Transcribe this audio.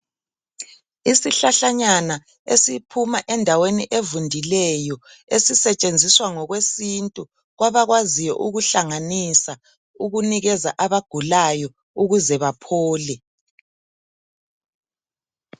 Isihlahlanyana esiphuma endaweni evundileyo esisetshenziswa ngokwesintu kwabakwaziyo ukuhlanganisa ukunikeza abagulayo ukuze baphole.